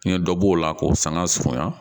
N ye dɔ b'o la k'o sanga surunya